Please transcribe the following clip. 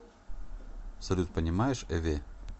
салют понимаешь эве